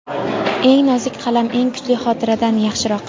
Eng nozik qalam eng kuchli xotiradan yaxshiroq.